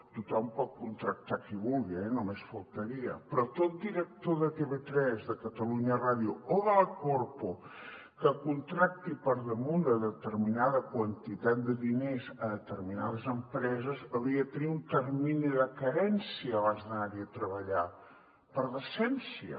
tothom pot contractar qui vulgui eh només faltaria però tot director de tv3 de catalunya ràdio o de la corpo que contracti per damunt de determinada quantitat de diners determinades empreses hauria de tenir un termini de carència abans d’anar hi a treballar per decència